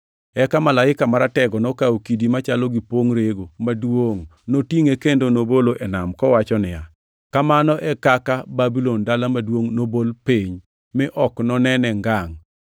Eka malaika maratego nokawo kidi machalo gi pongʼ rego maduongʼ, notingʼe kendo nobole e nam, kowacho niya, “Kamano e kaka Babulon dala maduongʼ nobol piny, mi ok nonene ngangʼ.